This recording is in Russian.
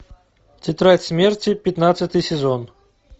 тетрадь смерти пятнадцатый сезон